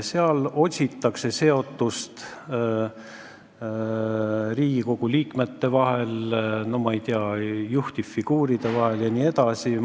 Seal otsitakse Riigikogu liikmete seotust juhtivfiguuridega jne.